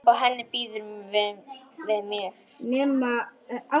Og henni býður við mér.